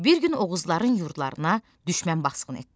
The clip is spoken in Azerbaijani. Bir gün Oğuzların yurdlarına düşmən basqın etdi.